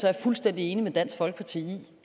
jeg fuldstændig enig med dansk folkeparti i